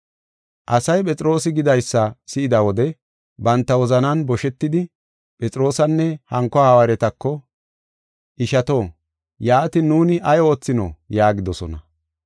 Asay Phexroosi gidaysa si7ida wode banta wozanan boshetidi Phexroosanne hanko hawaaretako, “Ishato, yaatin nuuni ay oothino?” yaagidosona.